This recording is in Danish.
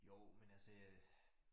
Jo men altså jeg